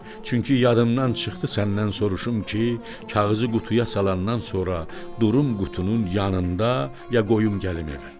Çünki yadımdan çıxdı səndən soruşum ki, kağızı qutuya salandan sonra durun qutunun yanında ya qoyum gəlim evə.